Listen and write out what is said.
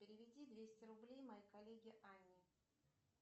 переведи двести рублей моей коллеге анне